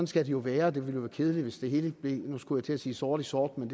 skal det jo være det ville være kedeligt hvis det hele blev nu skulle jeg til at sige sort i sort men